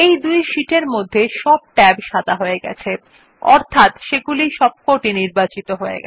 এই দুই শীটের মধ্যে সব ট্যাব সাদা হয়ে গেছে যা নির্দেশ করে যে তারা সব নির্বাচিত হয়